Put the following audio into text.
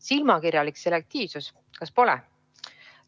Silmakirjalik selektiivsus, kas pole?